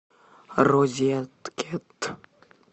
розеткед